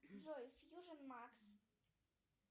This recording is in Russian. джой фьюжн макс